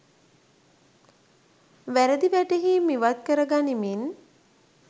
වැරදි වැටහීම් ඉවත් කර ගනිමින්